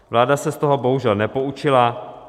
Vláda se z toho bohužel nepoučila.